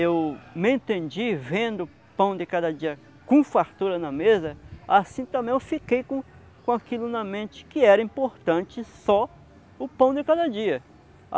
Eu me entendi vendo o pão de cada dia com fartura na mesa, assim também eu fiquei com com aquilo na mente que era importante só o pão de cada dia.